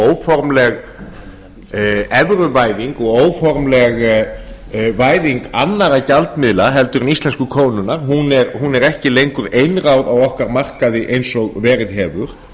óformleg evruvæðing og óformleg væðing annarra gjaldmiðla heldur en íslensku krónunnar hún er ekki lengur einráð á okkar markaði eins og verið hefur